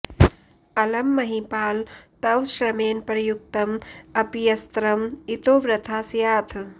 अलं महीपाल तव श्रमेण प्रयुक्तं अप्यस्त्रं इतो वृथा स्याथ्